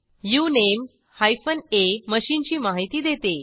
उनमे हायफन आ मशीनची माहिती देते